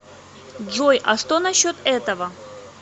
джой а что насчет этого